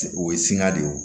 O ye sin ka de ye o